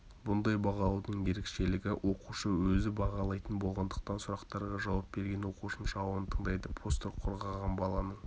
бұндай бағалаудың ерекшелігі оқушы өзі бағалайтын болғандықтан сұрақтарға жауап берген оқушының жауабын тыңдайды постер қорғаған баланың